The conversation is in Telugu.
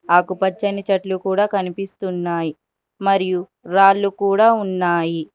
ఆకుపచ్చని చెట్లు కూడా కనిపిస్తున్నాయి మరియు రాళ్లు కూడా ఉన్నాయి.